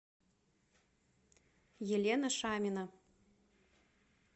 елена шамина